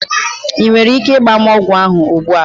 Ị nwere ike ịgba m ogwu ahụ ugbu a?